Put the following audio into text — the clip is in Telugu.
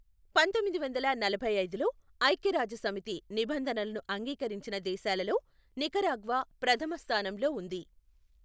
పంతొమ్మిది వందల నలభైఐదులో ఐఖ్యరాజ్యసమితి నిబంధనలను అంగీకరించిన దేశాలలో నికరాగ్వా ప్రధమ స్థానంలో ఉంది.